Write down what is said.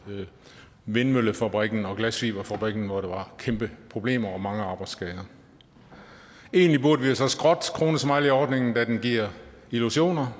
vindmøllefabrikken og glasfiberfabrikken hvor der var kæmpe problemer og mange arbejdsskader egentlig burde vi jo så skrotte kronesmileyordningen da den giver illusioner